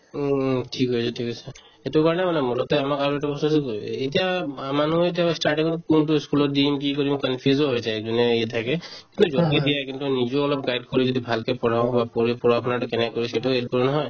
উম উম ঠিক আছে ঠিক আছে সেইটো কাৰণে মানে মূলতে আমাক আৰু এইটো বস্তুতো কি এতিয়া মানুহে এতিয়া starting ত কোনটো ই school ত দিম কি কৰিম confuse ও হৈ যায় যোনে ইয়াতে থাকে য'তে দিয়ে কিন্তু নিজেও অলপ guide কৰি যদি ভালকে পঢ়োৱা হয় পঢ়ি পঢ়া-শুনাতো কেনেকে কৰিছে নহয়